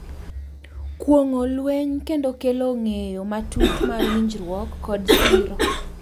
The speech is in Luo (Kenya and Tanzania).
Kuong’o lweny kendo kelo ng’eyo matut mar winjruok kod siro.